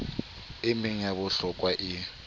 e meng ya bohlokwa e